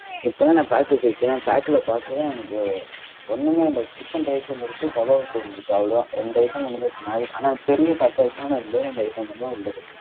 இப்ப தான் நான் pack அ பிரிக்கிறேன் pack ல பார்க்கிறேன் எனக்கு ஒன்னுமே இல்ல. chicken rice ஒன்னு இருக்கு kebab ஒன்னு இருக்கு அவ்வளவுதான். ரெண்டு item மட்டும் தான் இருக்கு. ஆனா, பெரிய pack ஆ இருக்கு ஆனா ரெண்டே ரெண்டு item மட்டும் தான் உள்ள இருக்கு.